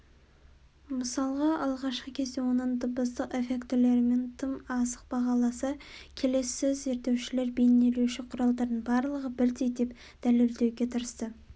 мысалға алғашқы кезде оның дыбыстық эффектілерін тым асық бағаласа келесі зерттеушілер бейнелеуші құралдардың барлығы бірдей деп дәлелдеуге тырысты